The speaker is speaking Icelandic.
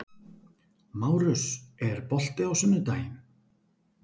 Márus, er bolti á sunnudaginn?